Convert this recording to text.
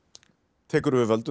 tekur við völdum